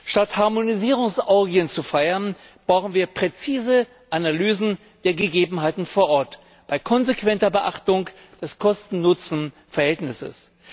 Statt Harmonisierungsorgien zu feiern, brauchen wir präzise Analysen der Gegebenheiten vor Ort bei konsequenter Beachtung des Kosten Nutzen Verhältnisses.